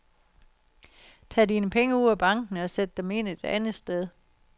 Tag dine penge ud af banken og sæt dem ind et andet sted.